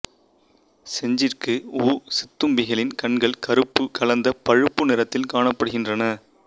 செஞ்சிறகு ஊசித்தும்பிகளின் கண்கள் கறுப்பு கலந்த பழுப்பு நிறத்தில் காணப்படுகின்றன